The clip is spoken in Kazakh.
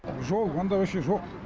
жол мұнда ваще жоқ